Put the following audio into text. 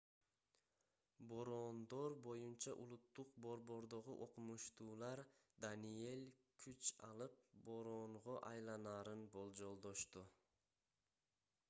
бороондор боюнча улуттук борбордогу окумуштуулар даниэль күч алып бороонго айланарын болжолдошту